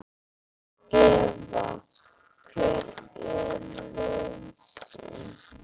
Eva: Hver er lausnin?